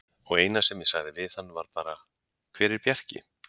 Og eina sem ég sagði við hann var bara: Hver er Bjarki?